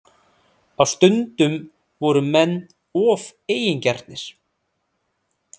Á stundum voru menn of eigingjarnir